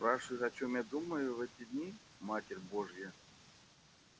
ты спрашиваешь о чём думаю я в эти дни матерь божья